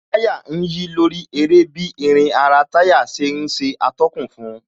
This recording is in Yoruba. Táyà ń yí lórí eré bí irin ara táyà ṣe ń ṣe atọ́kùn fun